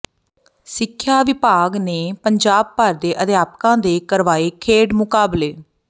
ਸਿੱਖਿਆ ਵਿਭਾਗ ਨੇ ਪੰਜਾਬ ਭਰ ਦੇ ਅਧਿਆਪਕਾਂ ਦੇ ਕਰਵਾਏ ਖੇਡ ਮੁਕਾਬਲੇ